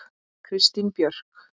Kristín Björk.